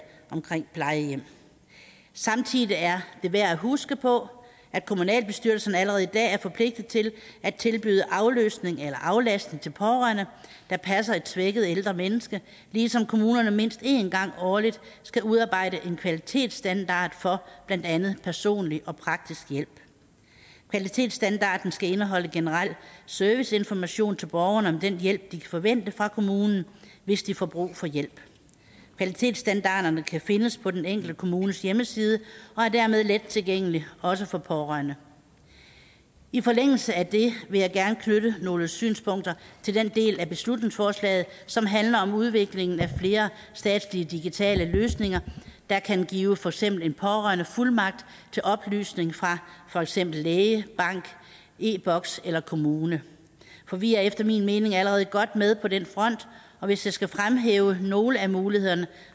af plejehjem samtidig er det værd at huske på at kommunalbestyrelserne allerede i dag er forpligtet til at tilbyde afløsning eller aflastning til pårørende der passer et svækket ældre menneske ligesom kommunerne mindst én gang årligt skal udarbejde en kvalitetsstandard for blandt andet personlig og praktisk hjælp kvalitetsstandarden skal indeholde generel serviceinformation til borgerne om den hjælp de kan forvente fra kommunen hvis de får brug for hjælp kvalitetsstandarderne kan findes på den enkelte kommunes hjemmeside og er dermed let tilgængelige også for pårørende i forlængelse af det vil jeg gerne knytte nogle synspunkter til den del af beslutningsforslaget som handler om udviklingen af flere statslige digitale løsninger der kan give for eksempel en pårørende fuldmagt til oplysninger fra for eksempel læge bank e boks eller kommune for vi er efter min mening allerede godt med på den front og hvis jeg skal fremhæve nogle af mulighederne